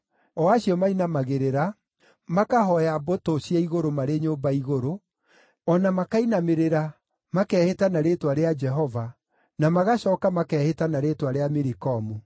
o acio mainamagĩrĩra, makahooya mbũtũ cia igũrũ marĩ nyũmba igũrũ, o na makainamĩrĩra, makehĩta na rĩĩtwa rĩa Jehova, na magacooka makehĩta na rĩĩtwa rĩa Milikomu,